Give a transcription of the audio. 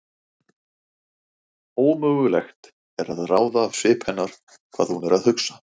Ómögulegt er að ráða af svip hennar hvað hún er að hugsa.